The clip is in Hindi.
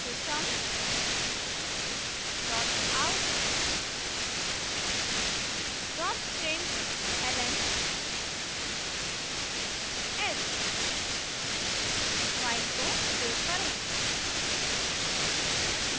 system dot out dot println h file को सेव करें